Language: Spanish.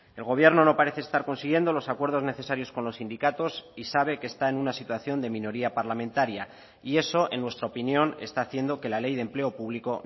el gobierno no parece estar consiguiendo los acuerdos necesarios con los sindicatos y sabe que está en una situación de minoría parlamentaria y eso en nuestra opinión está haciendo que la ley de empleo público